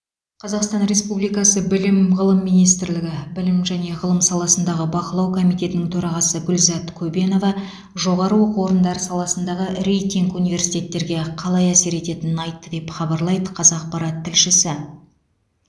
қазақстан республикасы білім ғылым министрлігі білім және ғылым саласындағы бақылау комитетінің төрағасы гүлзат көбенова жоғары оқу орындары саласындағы рейтинг университеттерге қалай әсер етенінін айтты деп хабарлайды қазақпарат тілшісі